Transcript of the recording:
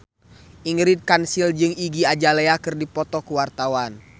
Ingrid Kansil jeung Iggy Azalea keur dipoto ku wartawan